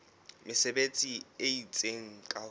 mesebetsi e itseng ka ho